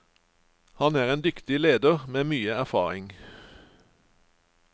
Han er en dyktig leder med mye erfaring.